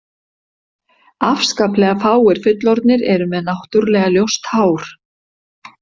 Afskaplega fáir fullorðnir eru með náttúrulega ljóst hár.